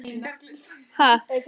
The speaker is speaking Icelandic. Er það ekki vandamálið?